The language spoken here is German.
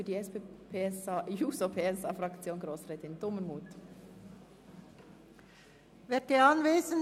Als Erstes spricht Grossrätin Dumermuth für die SP-JUSO-PSAFraktion.